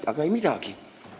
Aga ei midagi!